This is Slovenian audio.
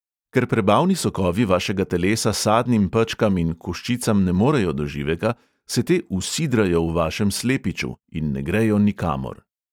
Ker prebavni sokovi vašega telesa sadnim pečkam in koščicam ne morejo do živega, se te "usidrajo" v vašem slepiču in ne grejo nikamor.